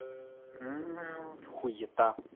хуита